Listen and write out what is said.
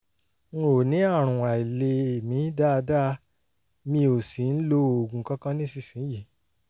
n ò ní àrùn àìlèmí dáadáa mi ò sì ń lo oògùn kankan nísinsìnyí